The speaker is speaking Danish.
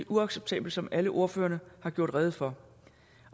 uacceptabelt som alle ordførerne har gjort rede for